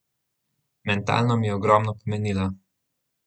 Mentalno mi je ogromno pomenila.